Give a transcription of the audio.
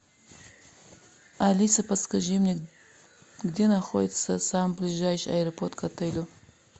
алиса подскажи мне где находится самый ближайший аэропорт к отелю